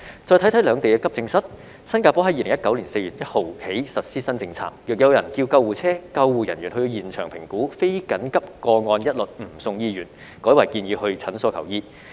再看看兩地的急症室，新加坡在2019年4月 l 日起實施新政策，若有人叫救護車，救護人員到現場評估後，非緊急個案一律不送醫院，改為建議到診所求醫。